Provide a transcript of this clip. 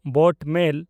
boat ᱢᱮᱞ